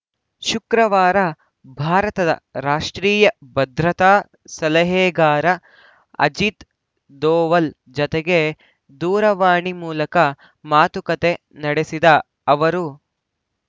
ಶುಕ್ರವಾರ ಭಾರತದ ರಾಷ್ಟ್ರೀಯ ಭದ್ರತಾ ಸಲಹೆಗಾರ ಅಜಿತ್‌ ಧೋವಲ್‌ ಜತೆಗೆ ದೂರವಾಣಿ ಮೂಲಕ ಮಾತುಕತೆ ನಡೆಸಿದ ಅವರು